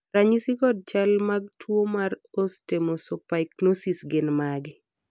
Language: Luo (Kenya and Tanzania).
ranyisi kod chal mag tuo mar Osteomesopyknosis gin mage?